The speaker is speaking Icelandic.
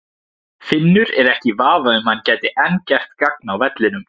Finnur er ekki í vafa um að hann gæti enn gert gagn á vellinum.